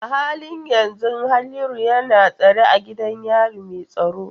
A halin yanzu Haliru yana tsare a gidan yari mai tsaro.